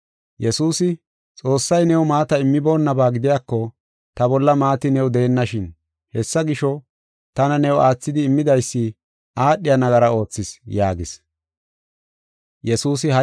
Yesuusi, “Xoossay new maata immiboonnaba gidiyako ta bolla maati new deennashin. Hessa gisho, tana new aathidi immidaysi aadhiya nagara oothis” yaagis.